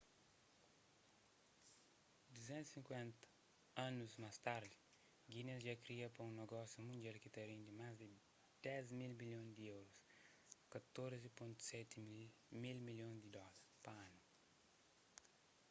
250 anus más tardi guinness dja kria pa un nogósiu mundial ki ta rendi más di 10 mil milhon di euros 14,7 mil milhon di dóla pa anu